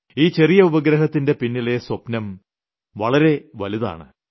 ഈ ചെറിയ ഉപഗ്രഹത്തിന്റെ പിന്നിലെ സ്വപ്നം വളരെ വലുതാണ്